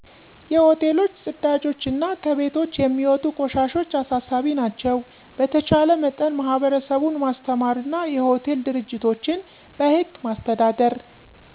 የ ሆቴሎች ጵዳጆች አና ከቤቶች የሚወጡ ቆሻሻዎች አሳሳቢ ናቸው። በተቻለ መጠን ማህበረሰቡን ማስተማርና የ ሆቴል ድርጅቶችን በህግ ማስተዳደር።